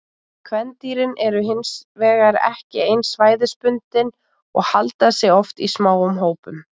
Kvendýrin eru hin vegar ekki eins svæðisbundin og halda sig oft í smáum hópum.